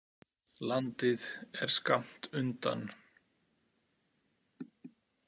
Landið er skammt undan.